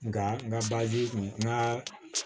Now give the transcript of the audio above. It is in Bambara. Nga n ka kun ka